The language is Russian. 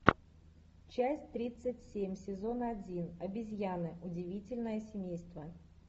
часть тридцать семь сезон один обезьяны удивительное семейство